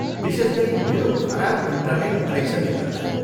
विशेष गरी मेरो खराब इन्टनेट कनेक्सनले गर्दा।